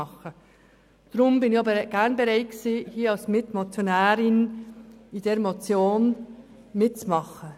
Deshalb war ich auch gerne bereit, als Mitmotionärin bei dieser Motion mitzumachen.